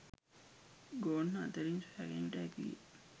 ගොන්න අතරින් සොයාගැනීමට හැකිවිය